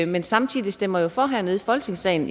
men samtidig stemmer for hernede i folketingssalen